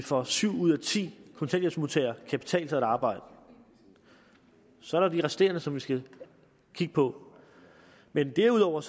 for syv ud af ti kontanthjælpsmodtagere kan betale sig at arbejde så er der de resterende som vi skal kigge på men derudover